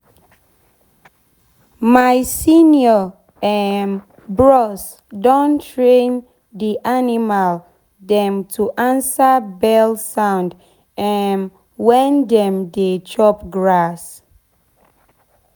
my senior um bros don train d animal dem to answer bell sound um wen dem dey chop grass.